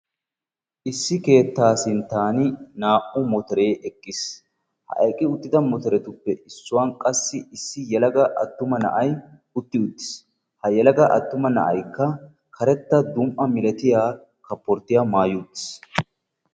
Issi keettaa sinttan naa"u motoree eqqis. Ha eqqi uttida motoretuppe issuwan qassi issi yelaga attuma na"ay utti uttis. Ha yelaga attuma na"aykka keretta dum"a milatiya kaaporttiyaa maayi uttis.